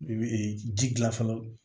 I bɛ ji gilan fɔlɔ